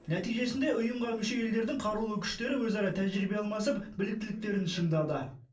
нәтижесінде ұйымға мүше елдердің қарулы күштері өзара тәжірибе алмасып біліктіліктерін шыңдады